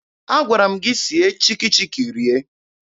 Agwara m gị sie Chikki Chikki rie!